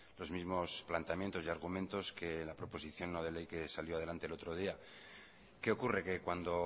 los mismos planteamientos y argumentos que la proposición no de ley que salió adelante el otro día qué ocurre que cuando